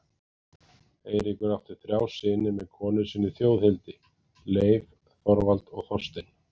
Eiríkur átti þrjá syni með konu sinni Þjóðhildi, Leif, Þorvald og Þorstein.